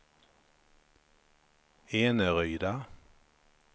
Eneryda